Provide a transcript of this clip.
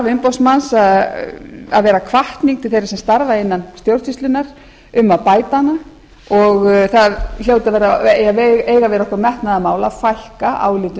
umboðsmanns að vera hvatning til þeirra sem starfa innan stjórnsýslunnar um að bæta hana og það á að vera okkur metnaðarmál að fækka álitum